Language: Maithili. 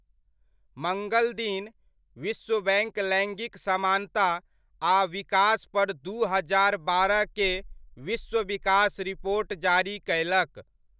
मङ्गलदिन, विश्वबैङ्क लैङ्गिक समानता आ विकासपर दू हजार बारह के विश्व विकास रिपोर्ट जारी कयलक।